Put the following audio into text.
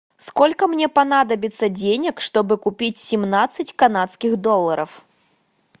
сколько мне понадобится денег чтобы купить семнадцать канадских долларов